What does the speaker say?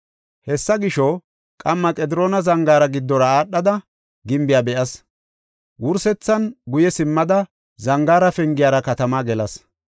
Hessa gisho, qamma Qediroona Zangaara giddora aadhada gimbiya be7as. Wursethan, guye simmada Zangaara Pengiyara katamaa gelas.